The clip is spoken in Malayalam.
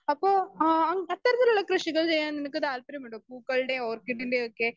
സ്പീക്കർ 2 അപ്പൊ ആൻ അത്തരത്തിലുള്ള കൃഷികൾ ചെയ്യാൻ നിനക്ക് താല്പര്യമുണ്ടോ? പൂക്കളുടേം ഓർക്കിഡിൻ്റെയുമൊക്കെ?